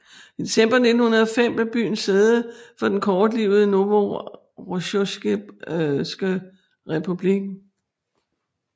I december 1905 blev byen sæde for den kortlivede Novorossijske Republik